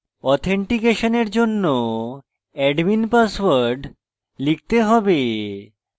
অথেনটিকেশনের জন্য admin password লিখতে হবে